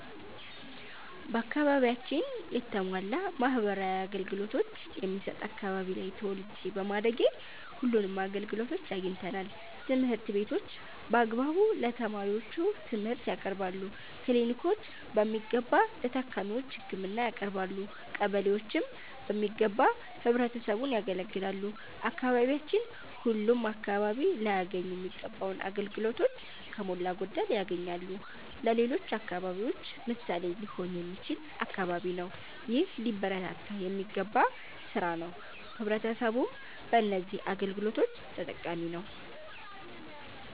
በአከባቢያችን የተሟላ ማህበራዊ አገልገሎቶች የሚሠጥ አከባቢ ላይ ተወልጄ በማደጌ ሁለንም አገልግሎቶች አግኝተናል። ትምህርት ቤቶች በአግባቡ ለተማሪዎቹ ትምርህት ያቀርባሉ። ክሊኒኮች በሚገባ ለታካሚዎች ህክምና ያቀረባሉ። ቀበሌዎችም በሚገባ ህብረተሰቡን ያገለግላሉ። አካባቢያችን ሁለም አከባቢ ላያገኙ ሚገባውን አገልግሎቶች ከሞላ ጎደል ያገኛል። ለሌሎች አከባቢዎች ምሣሌ ሊሆን የሚችል አከባቢ ነው። ይህ ሊበረታታ የሚገባ ስራ ነው። ህብረተሰቡም በነዚህ አገልግሎቶች ተጠቃሚ ነዉ።